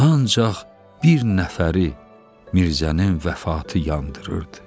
Ancaq bir nəfəri Mirzənin vəfatı yandırırdı.